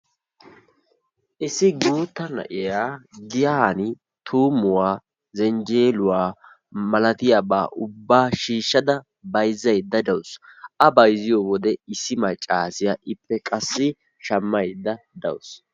Issi gutta na'iyaa giyani tuummuwa, zenjeluwaa malaatiyaba ubba shiishshada bayzzayda de'awusu. A bayzziyo wode issi maccaassiya ippe qassi shammaydda de'awusu.